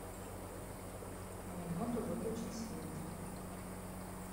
на минуту выключить свет